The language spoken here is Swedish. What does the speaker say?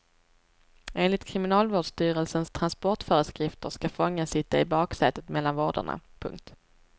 Enligt kriminalvårdsstyrelsens transportföreskrifter ska fången sitta i baksätet mellan vårdarna. punkt